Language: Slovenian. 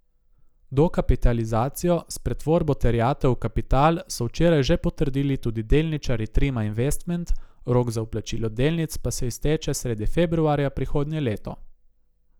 Dokapitalizacijo s pretvorbo terjatev v kapital so včeraj že potrdili tudi delničarji Trima Investment, rok za vplačilo delnic pa se izteče sredi februarja prihodnje leto.